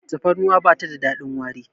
tafarnuwa ba ta da dadin wari